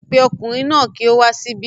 Pe ọkùnrin náà ki o wá síbí